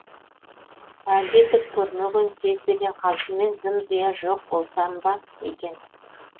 әлде түк көрмеген сезбеген қалпыммен зым зия жоқ болсам ба екен